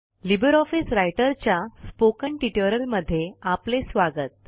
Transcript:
Libre office रायटरच्या spoken ट्युटोरियलमध्ये आपले स्वागत